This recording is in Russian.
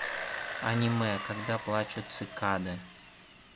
аниме когда плачут цикады